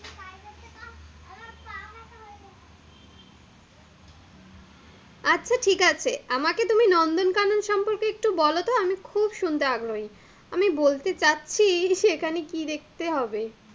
আচ্ছা, ঠিক আছে, আমাকে তুমি নন্দন কানন সম্পর্কে একটু বলতো, আমি খুব শুনতে আগ্রহী, আমি বলতে চাচ্ছি এখানে কি দেখতে হবে?